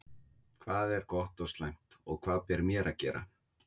Hvað er gott og slæmt? og Hvað ber mér að gera?